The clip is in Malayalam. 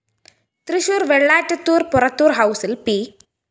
തൃശൂര്‍ വെളളാറ്റത്തൂര്‍ പൊറത്തൂര്‍ ഹൗസില്‍ പി